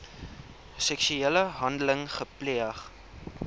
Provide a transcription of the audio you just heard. seksuele handeling gepleeg